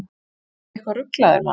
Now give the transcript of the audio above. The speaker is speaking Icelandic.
Ertu eitthvað ruglaður, maður?